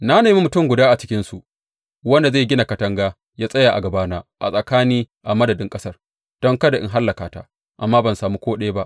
Na nemi mutum guda a cikinsu wanda zai gina katanga ya tsaya a gabana a tsakani a madadin ƙasar don kada in hallaka ta, amma ban sami ko ɗaya ba.